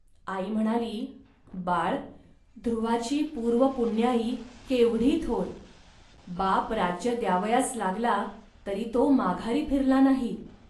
.आई म्हणाली, "बाळ, ध्रुवाची पूर्वपुण्याई केवढी थोर. बाप राज्य द्यावयास लागला, तरी तो माघारी फिरला नाही